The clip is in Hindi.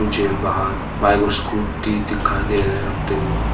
मुझे बाहर बाइक और स्कूटी दिखाई दे रहे रखते हुए।